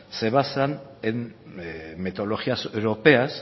se basan en metodologías europeas